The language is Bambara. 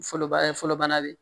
Fɔlɔ baara fɔlɔ bana bɛ yen